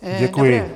Děkuji.